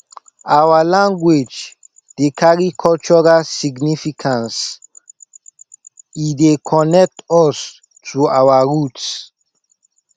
our language dey carry cultural significance e dey connect us to our roots